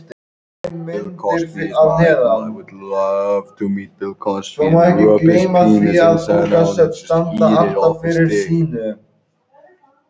Erfðum, það er breytileiki milli einstaklinga er tilkominn vegna erfða að einhverju leyti.